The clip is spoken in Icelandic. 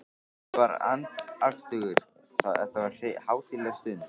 Ég var andaktugur, þetta var hátíðleg stund.